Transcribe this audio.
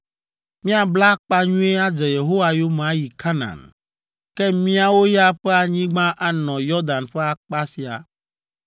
Míabla akpa nyuie adze Yehowa yome ayi Kanaan, ke míawo ya ƒe anyigba anɔ Yɔdan ƒe akpa sia.”